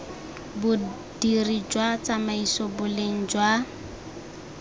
bodiri jwa tsamaiso boleng jwa